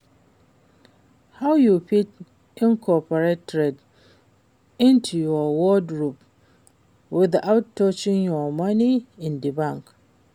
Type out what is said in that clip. How you fit incorporate trends into your wardrobe without touching your money in di bank?